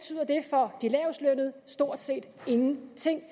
for de lavestlønnede stort set ingenting